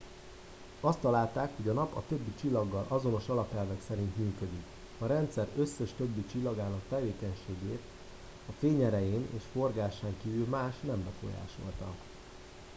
azt találták hogy a nap a többi csillaggal azonos alapelvek szerint működik a rendszer összes többi csillagának tevékenységét a fényerején és forgásán kívül más nem befolyásolta